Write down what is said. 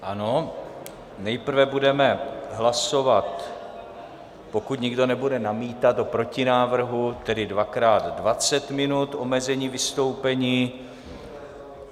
Ano, nejprve budeme hlasovat, pokud nikdo nebude namítat, o protinávrhu, tedy dvakrát 20 minut, omezení vystoupení.